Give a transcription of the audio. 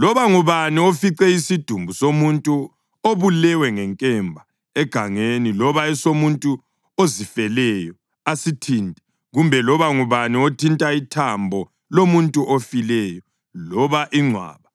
Loba ngubani ofice isidumbu somuntu obulewe ngenkemba egangeni loba esomuntu ozifeleyo asithinte, kumbe loba ngubani othinta ithambo lomuntu ofileyo loba ingcwaba,